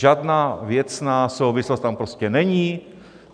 Žádná věcná souvislost tam prostě není.